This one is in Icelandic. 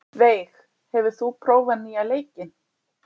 Veig, hefur þú prófað nýja leikinn?